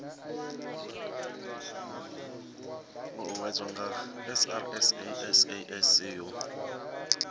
uuwedzwa nga srsa sasc u